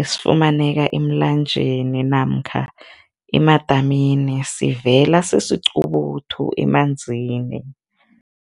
esifumaneka emlanjeni namkha emadamini, sivela sisiqubuthu emanzini.